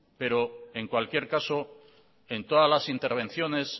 pero en cualquier caso en todas las intervenciones